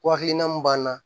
Ko hakilina mun b'an na